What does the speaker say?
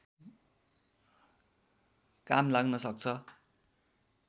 काम लाग्न सक्छ